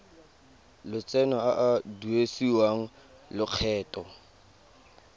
lotseno a a duedisiwang lokgetho